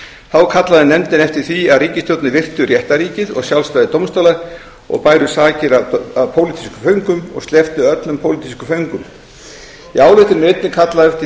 þá kallaði nefndin eftir því að ríkisstjórnir virtu réttarríkið og sjálfstæði dómstóla og bæru sakir af pólitískum föngum og slepptu öllum pólitískum föngum í ályktuninni er einnig kallað eftir